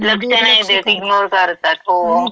दुर्लक्ष करतात. लक्ष नाही देत, इग्नोर करतात. हो.